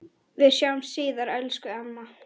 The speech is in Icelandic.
Við sjáumst síðar, elsku amma.